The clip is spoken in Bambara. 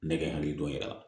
Ne bɛ n hakili dɔn yɛrɛ